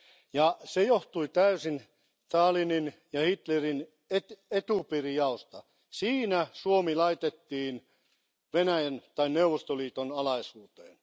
Ja se johtui täysin Stalinin ja Hitlerin etupiirijaosta. Siinä Suomi laitettiin Venäjän tai Neuvostoliiton alaisuuteen.